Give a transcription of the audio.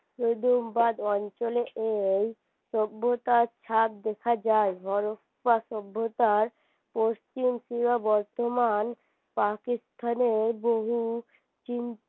বাদ অঞ্চলে এই সভ্যতার ছাপ দেখা যায় সভ্যতার পশ্চিম বর্তমান পাকিস্থানে বহু